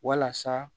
Walasa